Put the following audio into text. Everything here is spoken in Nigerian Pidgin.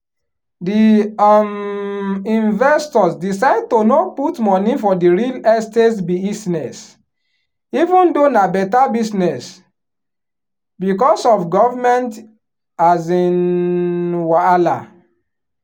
di um investors decide to no put money for the real estate buisness even though na better business because of government um wahala.